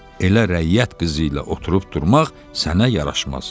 Elə rəyyət qızı ilə oturub durmaq sənə yaraşmaz.